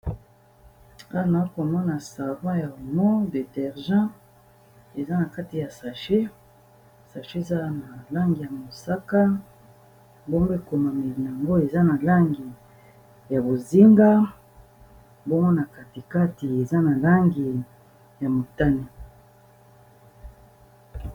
Awa nazokomona savon ya omo de derja eza na kati ya sache sache eza na langi ya mosaka ekomami yango eza na langi ya bozinga mbomona katikati eza na langi ya motane